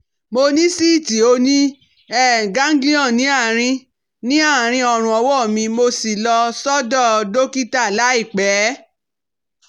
Mo ní síìtì oníganglion ní àárí ní àárí ọrùn ọwọ́ mi mo sì lọ sọ́dọ̀ dọ́kítà láìpẹ́